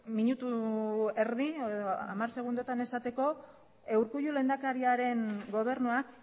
minutu erdi edo hamar segundotan esateko urkullu lehendakariaren gobernuak